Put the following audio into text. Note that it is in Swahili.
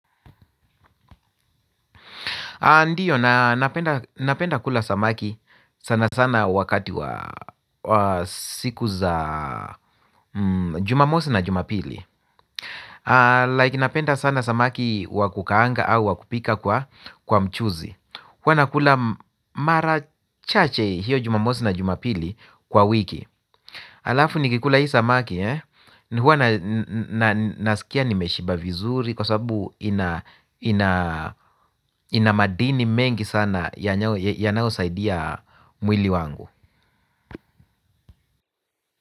Ndiyo, napenda kula samaki sana sana wakati wa siku za jumamosi na jumapili Like napenda sana samaki wa kukaanga au wa kupika kwa mchuzi huwa nakula mara chache hiyo jumamosi na jumapili kwa wiki. Alafu nikikula hii samaki huwa nasikia nimeshiba vizuri. Kwa sababu ina madini mengi sana yanayosaidia mwili wangu.